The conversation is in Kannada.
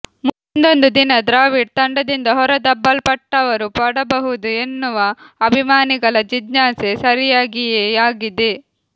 ಮುಂದೊಂದು ದಿನ ದ್ರಾವಿಡ್ ತಂಡದಿಂದ ಹೊರದಬ್ಬಲ್ಪಟ್ಟರು ಪಡಬಹುದು ಎನ್ನುವ ಅಭಿಮಾನಿಗಳ ಜಿಜ್ಞಾಸೆ ಸರಿಯಾಗಿಯೇ ಆಗಿದೆ